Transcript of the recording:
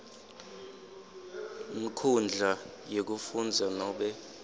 nkhundla yekufundza nobe